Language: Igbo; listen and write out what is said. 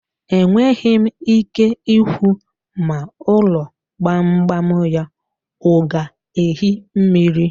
Enweghi m ike ikwu ma ulo gbam gbam ya o ga-ehi mmiri.